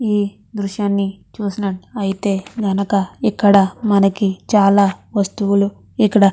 ఈ దృశ్యాన్ని చూసి నట్టు అయితే గనక ఇక్కడ చాలా వస్తువులు ఇక్కడ --